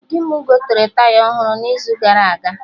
Di mụ gotere Taya ọhụrụ n'izu gara aga